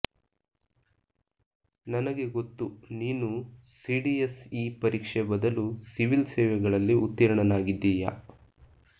ನನಗೆ ಗೊತ್ತು ನೀನು ಸಿಡಿಎಸ್ ಇ ಪರೀಕ್ಷೆ ಬದಲು ಸಿವಿಲ್ ಸೇವೆಗಳಲ್ಲಿ ಉತ್ತೀರ್ಣನಾಗಿದ್ದೀಯ